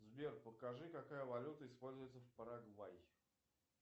сбер покажи какая валюта используется в парагвай